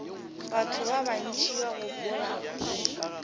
batho ba bantši ba gopola